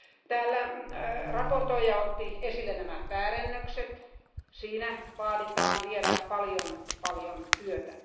Täällä esittelijä otti esille nämä väärennökset, siinä vaaditaan vielä paljon, paljon työtä.